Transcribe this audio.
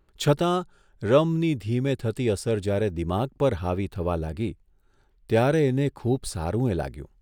છતાં રમની ધીમે થતી અસર જ્યારે દિમાગ પર હાવી થવા લાગી ત્યારે એને ખુબ સારુંયે લાગ્યું.